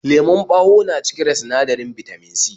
Lemon ɓawo na cike da sinadarin Bitamin C